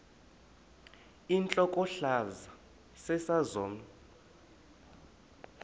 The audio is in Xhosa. intlokohlaza sesisaz omny